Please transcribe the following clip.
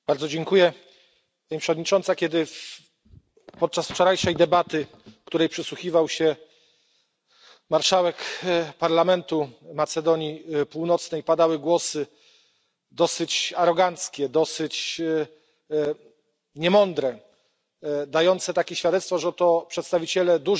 Pani Przewodnicząca! Kiedy podczas wczorajszej debaty, której przysłuchiwał się marszałek parlamentu Macedonii Północnej, padały głosy dosyć aroganckie, dosyć niemądre, dające takie świadectwo, że to przedstawiciele dużych państw mogą